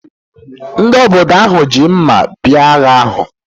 Ndị obodo ahụ ji mma bịa agha ahụ